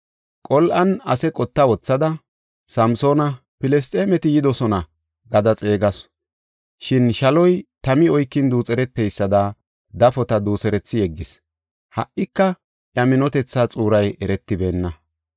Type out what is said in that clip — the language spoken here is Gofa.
Qol7an ase qotta wothada, “Samsoona, Filisxeemeti yidosona” gada xeegasu. Shin shaloy tami oykin duuxereteysada dafota duuserethi yeggis. Ha77ika iya minotethaa xuuray eretibeenna.